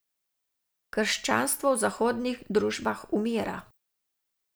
Krščanstvo v zahodnih družbah umira.